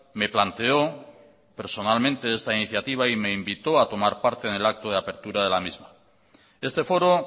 me planteó personalmente esta iniciativa y me invitó a tomar parte en el acto de apertura de la misma este foro